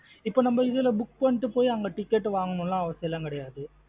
இப்போ நம்ம இதுல book பண்ணிட்டு போய் அங்க ticket வாங்கனு ல அவசியம் லாம் கிடையாது.